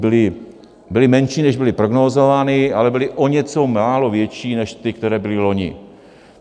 Byly menší, než byly prognózovány, ale byly o něco málo větší než ty, které byly loni.